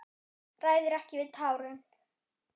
Ræður ekki við tárin.